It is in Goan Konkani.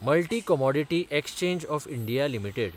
multi Commodity Exchange of India limited